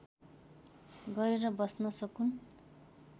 गरेर बस्न सकून्